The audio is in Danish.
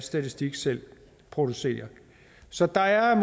statistik selv producerer så der er